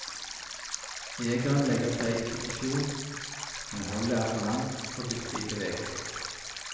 Jegeren legger seg i posisjon, men holdet er for langt og byttet i bevegelse.